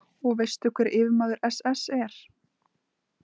Og veistu hver yfirmaður SS er?